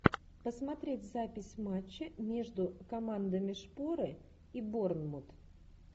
посмотреть запись матча между командами шпоры и борнмут